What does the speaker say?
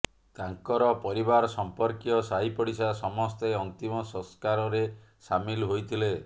ତାଙ୍କର ପରିବାର ସମ୍ପର୍କୀୟ ସାହି ପଡ଼ିଶା ସମସ୍ତେ ଅନ୍ତିମ ସଂସ୍କାରରେ ସାମିଲ ହୋଇଥିଲେ